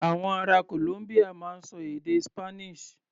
Àwọn ará Columbia máa ń ṣọ èdè Spanish.